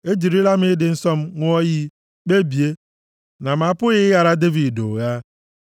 Ejirila m ịdị nsọ m ṅụọ iyi, kpebie na m apụghị ịghara Devid ụgha,